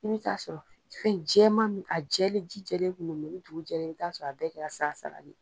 I bi ta sɔrɔ fɛn jɛman min, a jɛlen, ji jɛlen kun no, ni dugu jɛra, i bi t'a sɔrɔ a bɛɛ kɛra sala sala de ye.